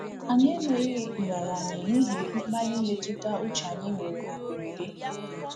Anyị emeghị nraranye n’ihi mkpali mmetụta uche anyị nwere na mberede.